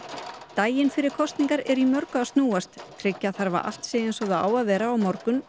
daginn fyrir kosningar er í mörgu að snúast og tryggja þarf að allt sé eins og það á vera á morgun